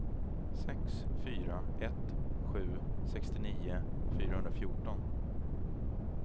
sex fyra ett sju sextionio fyrahundrafjorton